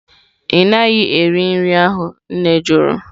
Ị naghị eri nri ahụ? Nne jụrụ